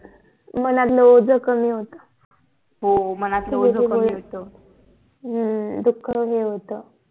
मनातल ओझ कमी होते हो हो मनातल ओझ कमी होते ह्म्म्म दुःख कमी होत